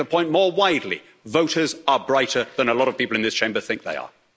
I'd make the point more widely voters are brighter than a lot of people in this Chamber think they are.